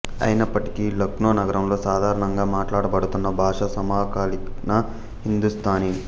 అయినప్పటికీ లక్నో నగరంలో సాధారణంగా మాట్లాడబడుతున్న భాష సమాకాలీన హిందూస్థానీ